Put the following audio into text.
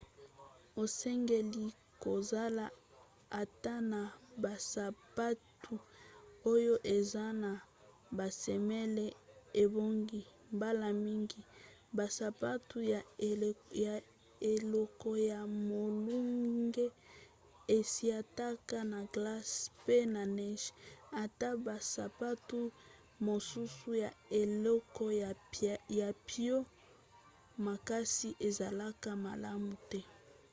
osengeli kozala ata na basapatu oyo eza na basemele ebongi. mbala mingi basapatu ya eleko ya molunge esietaka na glace pe na neige ata basapatu mosusu ya eleko ya mpio makasi ezalaka malamu te